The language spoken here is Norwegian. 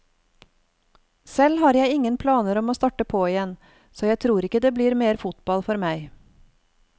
Selv har jeg ingen planer om å starte på igjen så jeg tror ikke det blir mer fotball for meg.